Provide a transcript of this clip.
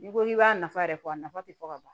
N'i ko k'i b'a nafa yɛrɛ fɔ a nafa tɛ fɔ ka ban